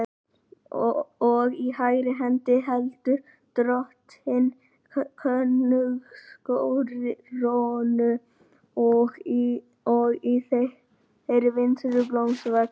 Og í hægri hendi heldur Drottinn á konungskórónu og í þeirri vinstri blómsveig.